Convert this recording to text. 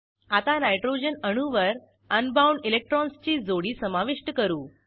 आता नायट्रोजन अणूवर un bound इलेक्ट्रॉन्सची जोडी समाविष्ट करू